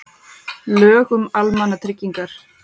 Lög um almannatryggingar.